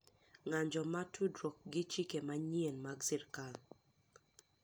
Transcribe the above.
ng’anjo ma tudruok gi chike manyien mag sirkal